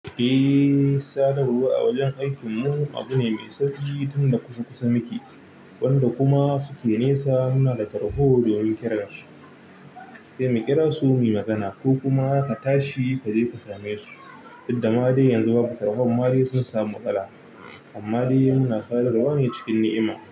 Eh, sadarwa a wajen aikinmu abu ne mai sauƙi tunda kusa-kusa muke, wanda kuma suke nesa muna da tarho domin kiranshi. Sai munkira su mu yi magana ko kuma ka tashi kaje ka same su, duk da ma dai yanzu babu tarhon ma dai sun samu matsala. Amma dai muna sadarwa ne cikin ni'ima.